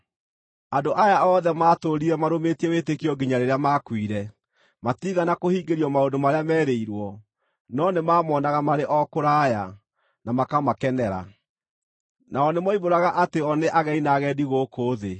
Andũ aya othe maatũũrire marũmĩtie wĩtĩkio nginya rĩrĩa maakuire. Matiigana kũhingĩrio maũndũ marĩa meerĩirwo; no nĩmamonaga marĩ o kũraya na makamakenera. Nao nĩmoimbũraga atĩ o nĩ ageni na agendi gũkũ thĩ.